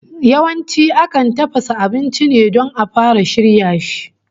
Yawanci akan tafasa ainci ne don a fara shirya shi